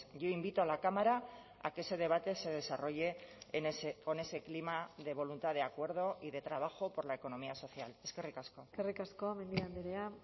yo invito a la cámara a que ese debate se desarrolle con ese clima de voluntad de acuerdo y de trabajo por la economía social eskerrik asko eskerrik asko mendia andrea